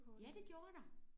Ja det gjorde der